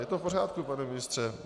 Je to v pořádku, pane ministře.